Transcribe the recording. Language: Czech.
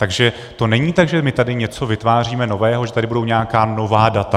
Takže to není tak, že my tady něco vytváříme nového, že tady budou nějaká nová data.